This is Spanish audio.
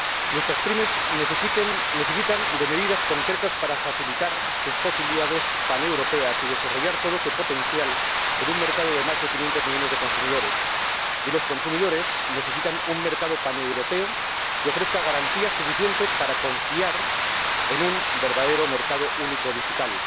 Nuestras PYME necesitan medidas concretas para facilitar sus posibilidades paneuropeas y desarrollar todo su potencial en un mercado de más de quinientos millones de consumidores, y los consumidores necesitan un mercado paneuropeo que ofrezca garantías suficientes para confiar en un verdadero mercado único digital.